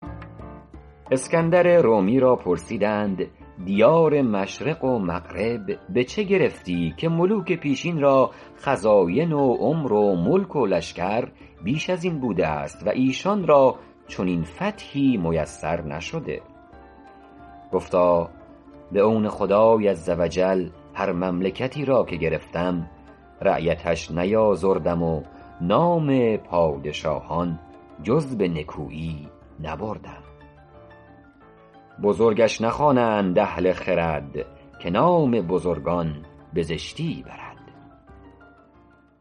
اسکندر رومی را پرسیدند دیار مشرق و مغرب به چه گرفتی که ملوک پیشین را خزاین و عمر و ملک و لشکر بیش از این بوده است ایشان را چنین فتحی میسر نشده گفتا به عون خدای عزوجل هر مملکتی را که گرفتم رعیتش نیآزردم و نام پادشاهان جز به نکویی نبردم بزرگش نخوانند اهل خرد که نام بزرگان به زشتی برد